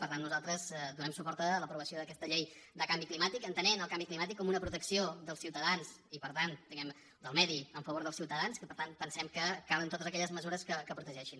per tant nosaltres donem suport a l’aprovació d’aquesta llei de canvi climàtic entenent el canvi climàtic com una protecció dels ciutadans i per tant diguem ne del medi en favor dels ciutadans que per tant pensem que calen totes aquelles mesures que ho protegeixin